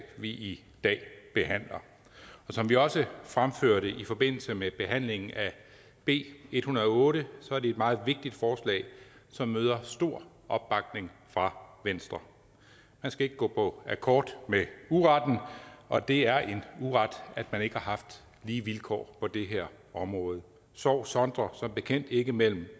vi i dag behandler som vi også fremførte i forbindelse med behandlingen af b en hundrede og otte er det et meget vigtigt forslag som møder stor opbakning fra venstre man skal ikke gå på akkord med uretten og det er en uret at man ikke har haft lige vilkår på det her område sorg sondrer som bekendt ikke mellem